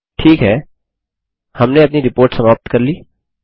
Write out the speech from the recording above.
ठीक है हमने अपनी रिपोर्ट समाप्त कर ली